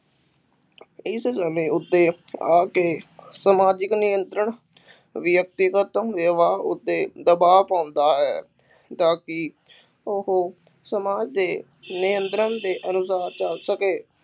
ਇਸ ਸਮੇਂ ਉੱਤੇ ਆ ਕੇ ਸਮਾਜਿਕ ਨਿਯੰਤਰਣ ਵਿਅਕਤੀਗਤ ਵਿਵਹਾਰ ਉੱਤੇ ਦਬਾਅ ਪਾਉਂਦਾ ਹੈ ਤਾਂ ਕਿ ਉਹ ਸਮਾਜ ਦੇ ਨਿਯੰਤਰਣ ਦੇ ਅਨੁਸਾਰ ਚੱਲ ਸਕੇ